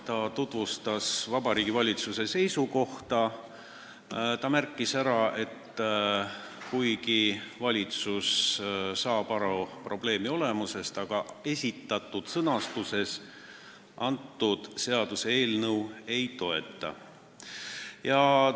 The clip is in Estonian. Tema tutvustas Vabariigi Valitsuse seisukohta ja märkis ära, et kuigi valitsus saab aru probleemi olemusest, ei toeta ta seaduseelnõu esitatud sõnastuses.